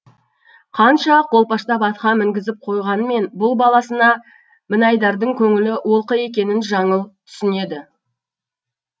қанша қолпаштап атқа мінгізіп қойғанмен бұл баласына мінайдардың көңілі олқы екенін жаңыл түсінеді